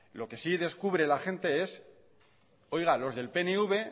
lo que si la gente es oiga los del pnv